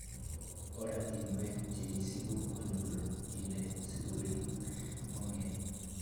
Oratinwek cheisibu konyolu kinde sikorib ingogenik.